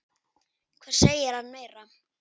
Hvað segir hann meira?